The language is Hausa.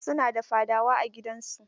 Su na da fadawa a gidan su.